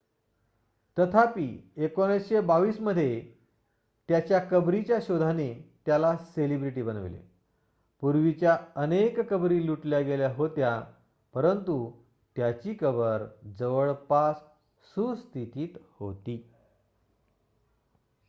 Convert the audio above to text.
तथापि 1922 मध्ये त्याच्या कबरीच्या शोधाने त्याला सेलिब्रिटी बनविले पूर्वीच्या अनेक कबरी लुटल्या गेल्या होत्या परंतु त्याची कबर जवळपास सुस्थितीत होती